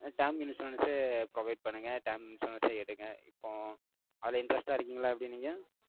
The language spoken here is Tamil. term insurance அஹ் provide பண்ணுங்க. Term insurance ஏ எடுங்க. இப்போ, அதுல interest ஆ இருக்கீங்களா, எப்படி நீங்க?